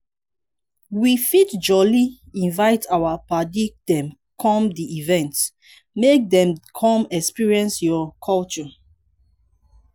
we fit jolly invite our paddy dem come di event make dem come experience your culture